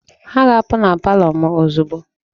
Ha ga-apụ na palọ m ozugbo!